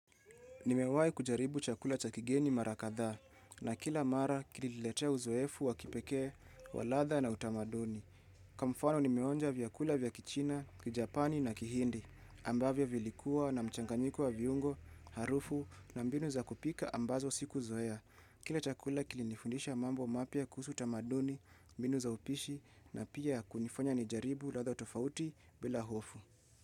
Nimewahi kujaribu chakula cha kigeni mara kadhaa na kila mara kiliniletee uzoefu wa kipekee wa ladha na utamaduni. Kwa mfano nimeonja vyakula vya kichina, kijapani na kihindi ambavyo vilikuwa na mchanganyiko wa viungo, harufu na mbinu za kupika ambazo siku zoea. Kila chakula kilinifundisha mambo mapya kuhusu utamaduni, mbinu za upishi na pia kunifanya nijaribu ladha tofauti bila hofu.